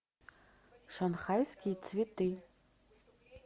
шанхайские цветы